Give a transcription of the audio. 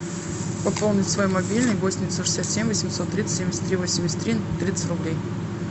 пополнить свой мобильный восемь девятьсот шестьдесят семь восемьсот тридцать семьдесят три восемьдесят три тридцать рублей